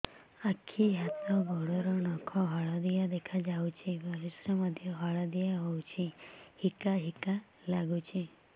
ଆଖି ହାତ ଗୋଡ଼ର ନଖ ହଳଦିଆ ଦେଖା ଯାଉଛି ପରିସ୍ରା ମଧ୍ୟ ହଳଦିଆ ହଉଛି ହିକା ହିକା ଲାଗୁଛି